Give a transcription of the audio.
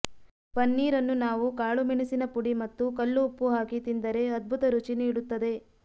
ಪನ್ನೀರನ್ನು ನಾವು ಕಾಳು ಮೆಣಸಿನ ಪುಡಿ ಮತ್ತು ಕಲ್ಲುಉಪ್ಪು ಹಾಕಿ ತಿಂದರೆ ಅದ್ಭುತ ರುಚಿ ನೀಡುತ್ತದೆ